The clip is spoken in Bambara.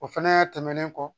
O fɛnɛ tɛmɛnen kɔ